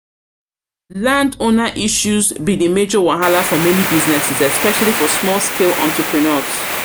landowner issues be di major wahala for many businesses, especially for small-scale enterpreneurs.